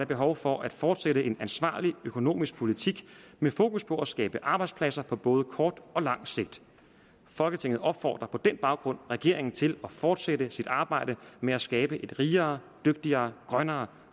behov for at fortsætte en ansvarlig økonomisk politik med fokus på at skabe arbejdspladser på både kort og lang sigt folketinget opfordrer på den baggrund regeringen til at fortsætte sit arbejde med at skabe et rigere dygtigere grønnere